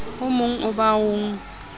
o mogn oo ba o